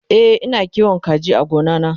e Ina kiwon kaji a gona na